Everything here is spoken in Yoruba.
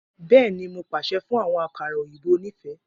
Bẹẹni, Mo paṣẹ fun awọn akara oyinbo onife